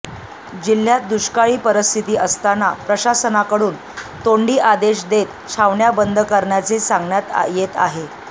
जिल्ह्यात दुष्काळी परिस्थिती असतांना प्रशासनाकडून तोंडी आदेश देत छावण्या बंद करण्याचे सांगण्यात येते आहे